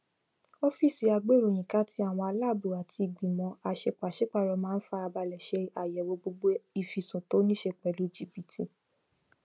ọfíísì agbéìròyìnká ti àwọn aláàbò àti ìgbìmọ aṣepàṣípàrọ máa ń farabalẹ ṣe ayẹwo gbogbo ìfisùn to ní ṣe pẹlú jìbìtì